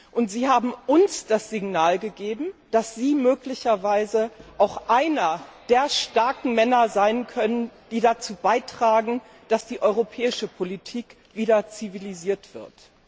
Und Sie haben uns das Signal gegeben, dass Sie möglicherweise auch einer der starken Männer sein können, die dazu beitragen, dass die europäische Politik wieder zivilisiert wird.